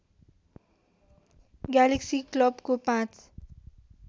galaxy क्लबको पाँच